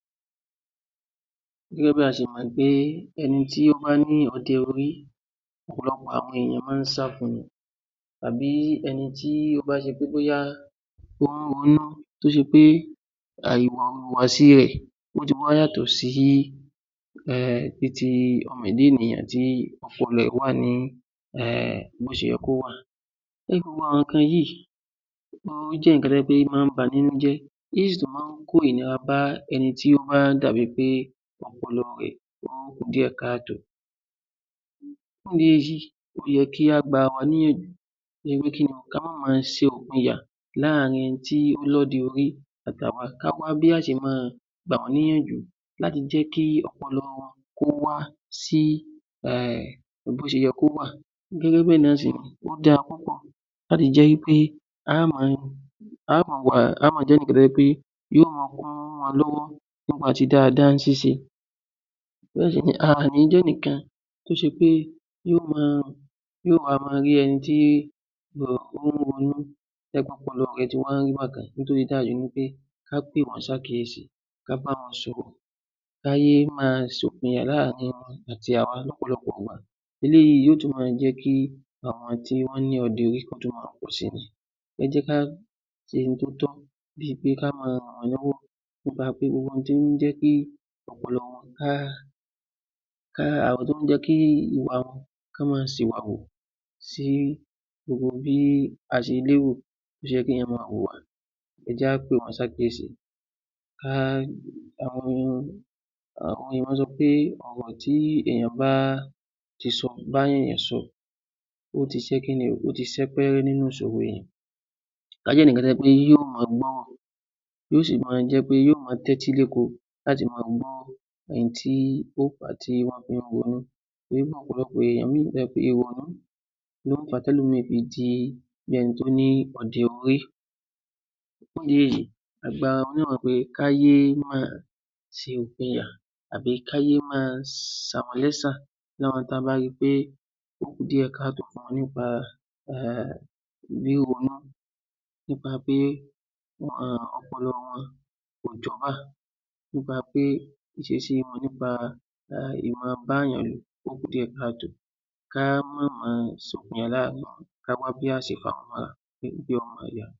‎Gẹ́gẹ́ bí a ti mọ̀ wí pé ẹni tó bá ní ọdẹ orí ọ̀pọ̀lọpọ̀ àwọn ènìyàn máa ń sá fún un ni tàbí ẹni tí tí ó bá ṣe pé bóyá ó ń ronú tí ó ṣe pé ìhùwàsí tí tiẹ̀ yàtọ̀ sí ti ẹ̀dá ènìyàn tí ọpọlọ rẹ wà ní bó ṣe yẹ kó wà. Gbogbo àwọn nǹkan yìí máa ń jẹ́ nǹkan tí ó máa ń bani nínú jẹ́ tí ó sì jẹ́ pé ó sì máa ń kó ìnira bá ẹni tí ó dà bí wí pé ọpọlọ rẹ ó kù díẹ̀ káàtó fún ìdí èyí ó yẹ kí a gba ara wa níyànjú pé kí ni ó? ká má ma ṣe ìpinya láàrín àwọn tó lọ́dẹ orí àti àwa kí á wá bí a ó ṣe máa gbà wọ́n níyànjú láti jẹ́ kí ọpọlọ wọn ló wá sí bó ṣe yẹ kó wà gẹ́gẹ́ bẹ́ẹ̀ náà sì ni ó dára púpọ̀ láti jẹ́ wí pé a ó máa jẹ́ ẹnìkan tí ó jẹ́ wí pé yóò máa kún wọn lọ́wọ́ yóò máa ṣe dáadáa ní ṣíṣe a ò ní jẹ́ èèyàn kan tó ṣe pé yóò máa rí ẹni tí ó ń ronú bí ẹni pé ọpọlọ re ká pè wọ́n sí àkíyèsí kí á bá wọn sọ̀rọ̀ ká yé máa ṣe ìpínyà láàrin àwọn àti àwa lọ́pọ̀lọpọ̀ ìgbà eléyìí yóò yóò tún máa jẹ́ kí àwọn tí ó ní ọdẹ orí máa pọ̀ sí I ni, ẹ jẹ́ kí á ṣe ohun tó tọ́ kí á máa ran ara wa lọ́wọ́ nípa pé gbogbo ohun tí ó ń jẹ́ kí ọpọlọ wọn ká ká, gbogbo ohun tí ó jẹ́ kí Wọ́n máa sìwàwù kí gbogbo ohun tí ó jẹ́ kí á máa wùwà, ẹ jẹ́ kí á pè wọ́n sí àkíyèsí àwọn ènìyàn sọ pé ọ̀rọ̀ tí ènìyàn bá bá ènìyàn sọ ó ti sẹ́pẹ́rẹ́ nínú ìṣòro kí á jẹ́ ẹnìkan tí ó jẹ́ wí pé yóò máa gbọ́, yóò sì máa jẹ́ wí pé yóò máa tẹ́tïléko láti máa gbọ́ ohun tí ó torí pé ọ̀pọ̀lọpọ̀ ẹlòmíràn ìrònú ló ń fà á tí ẹlòmíràn fi ń ṣe bí ẹni tó ní ọdẹ orí, fún ìdí èyí, kí á gba ara wa ní ìyànjú pé ká yé máa ṣe ìpínyà, ká yé máa sàwọ́n lẹ́sa tí a bá rí I pé ó kù díẹ̀ káàtó nípa rí ronú nípa ọpọlọ wọn kò jọ́bà nípa pé kí á máa bá ènìyàn wí ó kù díẹ̀ káàtó kí á má máa kí á wá bá ṣe fàwọ́n mọ́ra. ‎